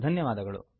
ಧನ್ಯವಾದಗಳು